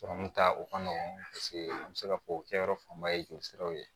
Sɔrɔmu ta o ka nɔgɔn paseke an bɛ se ka fɔ kɛyɔrɔ fanba ye joli siraw ye